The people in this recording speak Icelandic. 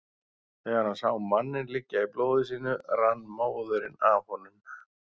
Þegar hann sá manninn liggja í blóði sínu rann móðurinn af honum.